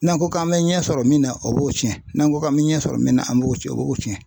N'an ko k'an bɛ ɲɛ sɔrɔ min na o b'o tiɲɛ n'an ko k'an bɛ ɲɛ sɔrɔ min na an b'o tiɲɛ o b'o tiɲɛ.